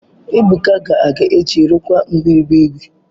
Ebuka ga-aga echi rụkwaa mgbịrịgba igwe.